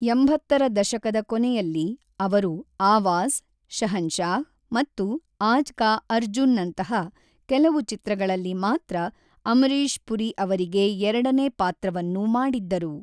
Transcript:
ಎಂಬತ್ತರ ದಶಕದ ಕೊನೆಯಲ್ಲಿ, ಅವರು ಆವಾಜ್, ಶಹನ್‌ಷಾಹ್‌ ಮತ್ತು ಆಜ್ ಕಾ ಅರ್ಜುನ್‌ನಂತಹ ಕೆಲವು ಚಿತ್ರಗಳಲ್ಲಿ ಮಾತ್ರ ಅಮರೀಶ್ ಪುರಿ ಅವರಿಗೆ ಎರಡನೇ ಪಾತ್ರವನ್ನು ಮಾಡಿದ್ದರು.